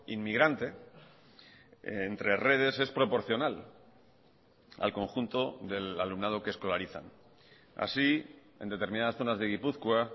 inmigrante entre redes es proporcional al conjunto del alumnado que escolarizan así en determinadas zonas de gipuzkoa